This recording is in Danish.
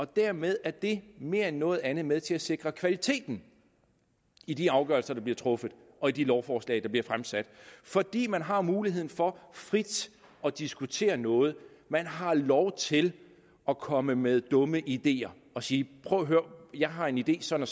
dermed er det mere end noget andet med til at sikre kvaliteten i de afgørelser der bliver truffet og i de lovforslag der bliver fremsat fordi man har muligheden for frit at diskutere noget man har lov til at komme med dumme ideer og sige prøv at høre jeg har en idé sådan